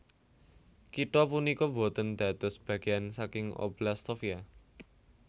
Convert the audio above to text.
Kitha punika boten dados bagéan saking Oblast Sofia